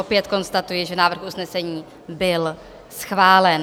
Opět konstatuji, že návrh usnesení byl schválen.